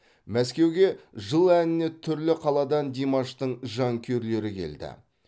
мәскеуге жыл әніне түрлі қаладан димаштың жанкүйерлері келді